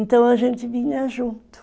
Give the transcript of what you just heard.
Então a gente vinha junto.